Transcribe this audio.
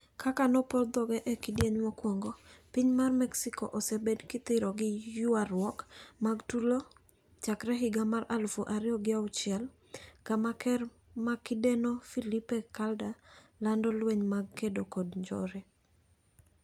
kaka nopor dhoge e kidieny mokuongo ,Piny mar mexico osebed kithiro gi ywaruok mag tulo chakre higa mar alufu ariyo gauchiel kama ker makindeno Felipe Calder lando lweny mag kedo kod njore.